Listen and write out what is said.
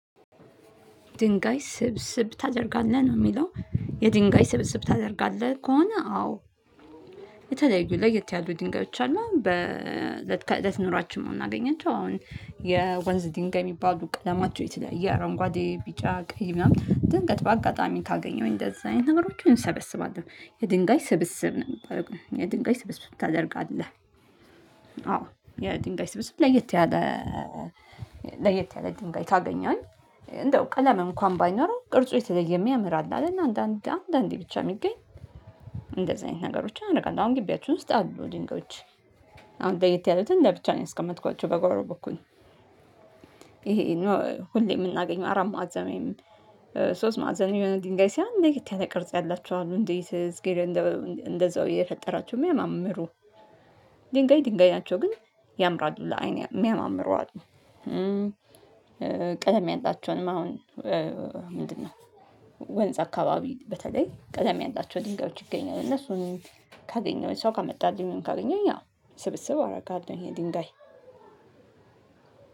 ድንጋይ ስብስብ ታደርጋለህ? ነው የሚለው። የድንጋይ ስብስብ ታደርጋለህ? ከሆነ አዎ። የተለያዩ ለየት ያሉ ድንጋዮች አሉ። በ ለት እለት ኑሯችን ነው የምናገኛቸው። አሁን የወንዝ ድንጋይ የሚባሉ ቀለማቸው የተለያየ አረንጓዴ፣ ቢጫ፣ ቀይ፣ ምናምን ድንገት በአጋጣሚ ካገኘሁኝ እንደዚህ አይነት ነገሮችን እንሰበስባለን። የድንጋይ ስብስብ ነው የሚባለው የድንጋይ ስብስብ ታደርጋለህ? አዎ የድንጋይ ስብስብ ለየት ያለ ለየት ያለ ድንጋይ ካገኘሁኝ እንደው ቀለም እንኳን ባይኖረው ቅርጹ የተለየ የሚያምራር አለ እና አንዳንድ አንዳንዴ ብቻ የሚገኝ፤ እንደዚህ አይነት ነገሮች አደርጋለሁ። አሁን ግቢያችሁን ውስጥ አሉ ድንጋዮች። አሁን ለየት ያሉትን ለብቻ ነው ያስቀመጥኳቸው በጎሮ በኩል ይሄ ሁሌ የምናገኘው አራት ማዕዘን፣ ሶስት ማዕዘን፣ የሆነ ኝጋይ ሳይሆን ለየት ያለ ቅርጽ ያላቸው አሉ። እንዴት እግዜር እንደዛው የፈጠራቸው የሚያማምሩ ድንጋይ ድንጋይ ናቸው ግን ያምራሉ ለአይን የሚያማምሩ አሉ። ቀለም ያላቸውንም አሁን ምንድነው? ወንዝ አካባቢ በተለይ ቀለም ያላቸውን ድንጋዮች ይገኛሉ። እነሱን ካገኘሁኝ ሰው ካመጣልኝ፣ ካገኘሁኝ አዎ ስብስብ አረጋለሁ። የድንጋይ